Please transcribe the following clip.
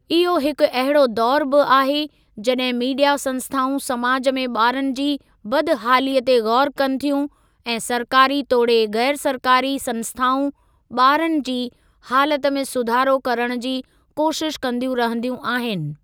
इहो हिकु अहिड़ो दौरु बि आहे जॾहिं मीडिया संस्‍थाऊं समाज में ॿारनि जी बदहालीअ ते गौरु कनि थियूं ऐं सरकारी तोड़े गैरु सरकारी संस्‍थाऊं ॿारनि जी हालत में सुधारो करण जी कोशिश कंदियूं रहंदियूं आहिनि।